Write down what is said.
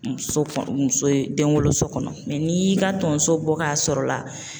Muso muso denwoloso kɔnɔ n'i y'i ka tonso bɔ k'a sɔrɔ la